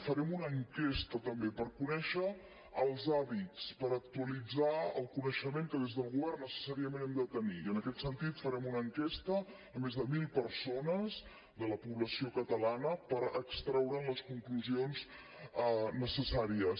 farem una enquesta també per conèixer els hàbits per actualitzar el coneixement que des del govern necessàriament hem de tenir i en aquest sentit farem una enquesta a més de mil persones de la població catalana per extreure’n les conclusions necessàries